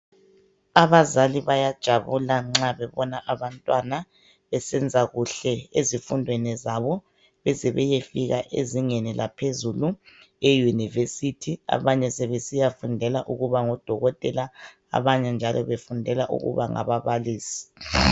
Abazali bayajabula nxa bebona abantwana besenza kuhle ezifundweni zabo beze beyefika ezingeni laphezulu e university abanye sebesiya fundela ukuba ngodokotela abanye njalo befundela ukuba ngababalisi.